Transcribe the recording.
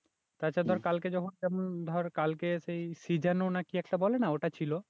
তাছাড়া ধর কালকে যখন যেমন ধর কালকে সেই নাকি একটা বলে না সেটা ছিল